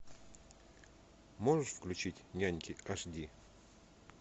можешь включить няньки аш ди